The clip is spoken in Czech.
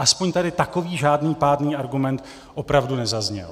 Aspoň tady takový žádný pádný argument opravdu nezazněl.